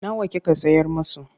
Nawa kika sayar musu?